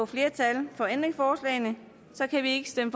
flertal for ændringsforslagene kan vi ikke stemme